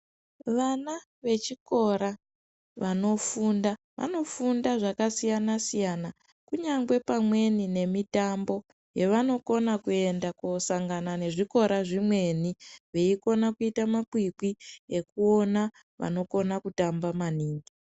Vana vechikora vanofunda ,vanofunda zvakasiyanasiyana kunyange pamweni nemitambo yavanokona kuenda kosangana nezvikora zvimweni veikona kuita makwikwi ekuona vanokona kutamba maningi.